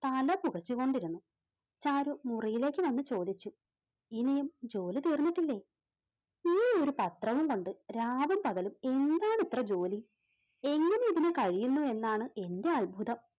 തല പുകച്ചു കൊണ്ടിരുന്നു ചാരു മൂറിലേക്ക് വന്നു ചോദിച്ചു ഇനിയും ജോലി തീർന്നിട്ടില്ലെ? ഈയൊരു പത്രവും കൊണ്ട് രാവും പകലും എന്താണ് ഇത്ര ജോലി എങ്ങനെ ഇതിനു കഴിയുന്നു എന്നാണ് എൻറെ അത്ഭുതം.